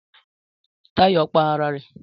Táyò pa ara rè